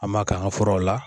An m'a kɛ an ga furaw la